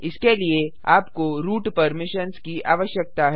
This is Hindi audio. इसके लिए आपको रूट परमिशंस की आवश्यकता है